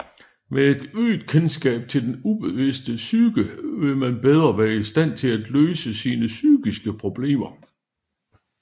Med et øget kendskab til den ubevidste psyke vil man bedre være i stand til at løse sine psykiske problemer